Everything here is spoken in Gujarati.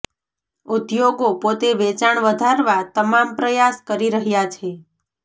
ઉદ્યોગો પોતે વેચાણ વધારવા તમામ પ્રયાસ કરી રહ્યા છે